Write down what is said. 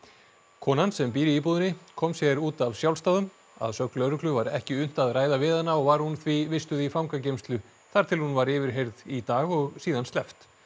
konan sem býr í íbúðinni kom sér út af sjálfsdáðum að sögn lögreglu var ekki unnt að ræða við hana og var hún því vistuð í fangageymslu þar til hún var yfirheyrð í dag og síðan sleppt